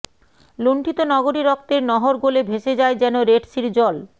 লুন্ঠিত নগরী রক্তের নহর গলে ভেসে যায় যেন রেডসির জল